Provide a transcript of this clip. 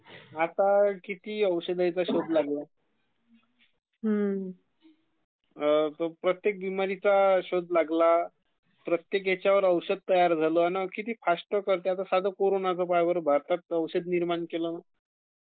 आता खिती औषधांचा शोध लागले....प्रत्येक बिमारीचा शोध लागला...प्रत्येक ह्यच्यावर औषध तयार झालं ...............किती फास्ट करते, आता कोरानाचं पहय बरं ...भारतात औषध निर्मान केलं...